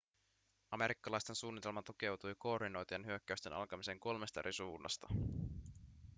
amerikkalaisten suunnitelma tukeutui koordinoitujen hyökkäysten alkamiseen kolmesta eri suunnasta